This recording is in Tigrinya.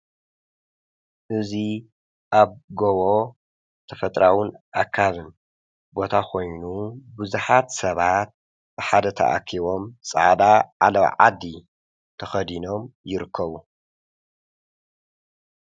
እዙይ ኣብጎቦ ተፈጥራዉን ኣካብን ቦታ ኾይኑ ብዙኃት ሰባት ብሓደ ተኣኪቦም ፃዕዳ ዓለዋ ዓዲ ተኸዲኖም ይርከቡ